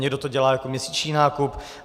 Někdo to dělá jako měsíční nákup.